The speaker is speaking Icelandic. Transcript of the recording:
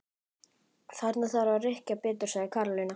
Þarna þarf að rykkja betur sagði Karólína.